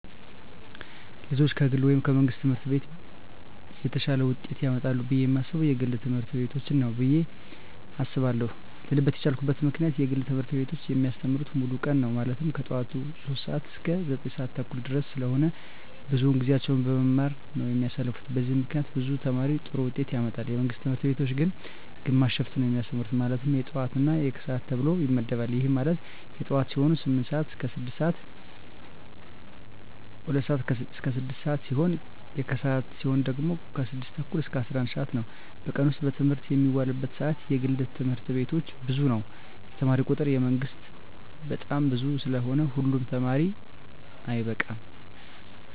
ልጆች ከግል ወይም ከመንግሥት ትምህርት ቤቶች የተሻለ ውጤት ያመጣሉ ብየ የማስበው የግል ትምህርት ቤቶችን ነው ብየ አስባለው ልልበት የቻልኩት ምክንያት የግል ትምህርት ቤቶች የሚያስተምሩት ሙሉ ቀን ነው ማለትም ከጠዋቱ 3:00 ሰዓት እስከ 9:30 ድረስ ስለሆነ ብዙውን ጊዜያቸውን በመማማር ነው የሚያሳልፉት በዚህም ምክንያት ብዙ ተማሪ ጥሩ ውጤት ያመጣል። የመንግስት ትምህርት ቤቶች ግን ግማሽ ሽፍት ነው የሚያስተምሩ ማለትም የጠዋት እና የከሰዓት ተብሎ ይመደባል ይህም ማለት የጠዋት ሲሆኑ 2:00 ስዓት እስከ 6:00 ሲሆን የከሰዓት ሲሆኑ ደግሞ 6:30 እስከ 11:00 ነው በቀን ውስጥ በትምህርት የሚውሉበት ሰዓት የግል ትምህርት ቤቶች ብዙ ነው የተማሪ ቁጥሩ የመንግስት በጣም ብዙ ስለሆነ ሁሉ ተማሪ አይበቃም።